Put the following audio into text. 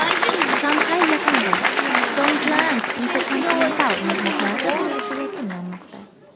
Shanxay yaqinida Songjiang InterContinental mehmonxonasi qurilishi yakunlanmoqda.